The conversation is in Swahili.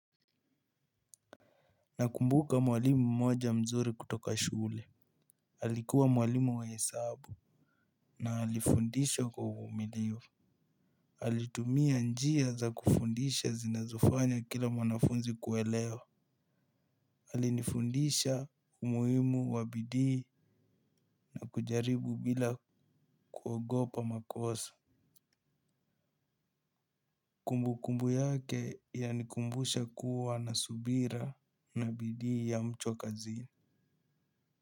Nakumbuka mwalimu mmoja mzuri kutoka shule alikuwa mwalimu wa hesabu. Naalifundishwa kwa uvumilivu alitumia njia za kufundisha zinazofanya kila mwanafunzi kuelewa alifundisha kumuimu wa bidii na kujaribu bila kuogopa makosa. Kumbu kumbu yake ya nikumbusha kuwa na subira na bidii ya mchwa kazini.